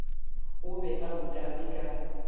o be a utame ka